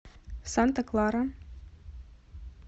санта клара